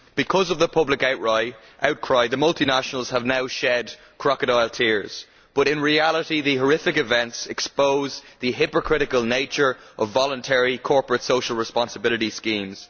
Because of the public outcry, the multinationals have now shed crocodile tears, but in reality these horrific events expose the hypocritical nature of voluntary corporate social responsibility schemes.